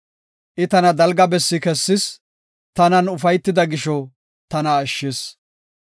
I tana dalga bessi kessis; tanan ufaytida gisho tana ashshis.